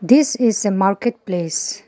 this is a market place.